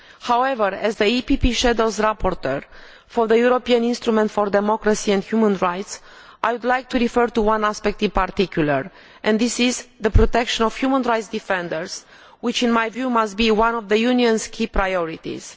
However, as the EPP shadow rapporteur for the European Instrument for Democracy and Human Rights, I would like to refer to one aspect in particular, and this is the protection of human rights defenders, which in my view must be one of the Union's key priorities.